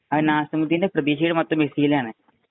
അതിനു നാസിമുദ്ദീന്‍റെ പ്രതീക്ഷ മുഴുവന്‍ മെസ്സിയിലാണ്.